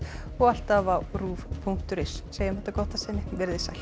og alltaf á rúv punktur is segjum þetta gott að sinni veriði sæl